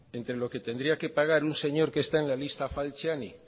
entre lo que tendría que pagar un señor que está en la lista falciani